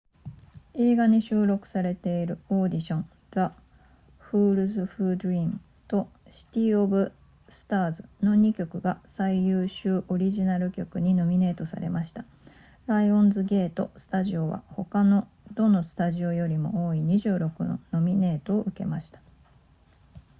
映画に収録されているオーディション the fools who dream とシティオブスターズの2曲が最優秀オリジナル曲にノミネートされましたライオンズゲートスタジオは他のどのスタジオよりも多い26のノミネートを受けました